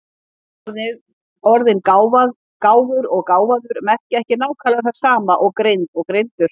Orðin gáfur og gáfaður merkja ekki nákvæmlega það sama og greind og greindur.